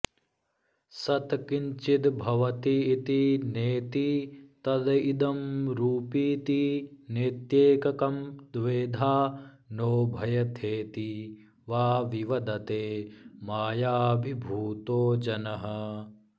सत् किञ्चिद्भवतीति नेति तदिदं रूपीति नेत्येककं द्वेधा नोभयथेति वा विवदते मायाभिभूतो जनः